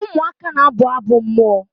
ụmụaka na-abụ abụ mmụọ